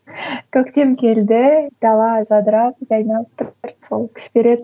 көктем келді дала жадырап жайнап тұр сол күш береді